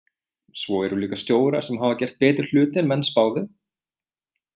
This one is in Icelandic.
Svo eru líka stjórar sem hafa gert betri hluti en menn spáðu.